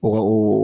Wa o